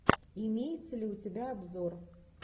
имеется ли у тебя обзор